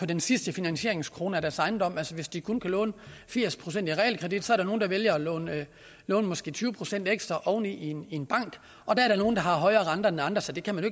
den sidste finansieringskrone af deres ejendom altså hvis de kun kan låne firs procent i realkreditlån er der nogle der vælger at låne måske tyve procent ekstra oven i i en bank og der er nogle der har højere renter end andre så det kan man